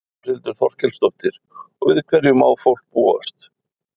Þórhildur Þorkelsdóttir: Og við hverju má fólk búast?